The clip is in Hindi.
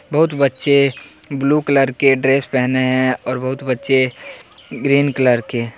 बहुत बच्चे ब्लू कलर के ड्रेस पहने हैं और बहुत बच्चे ग्रीन कलर के--